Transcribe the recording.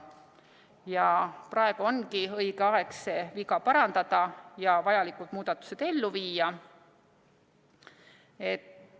Ja praegu ongi õige aeg see viga parandada ja vajalikud muudatused ellu viia.